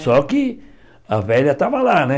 Só que a velha estava lá, né?